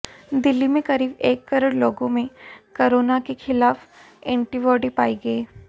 दिल्ली में करीब एक करोड़ लोगों में कोरोना के खिलाफ एंटीबॉडी पाई गई